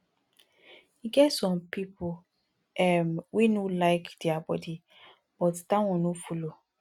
e get some pipo um wey no like dia body but that one no follow